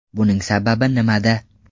Buning sababi nimada?.